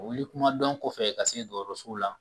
Wuli kumadɔn kɔfɛ ka se dɔgɔtɔrɔsow la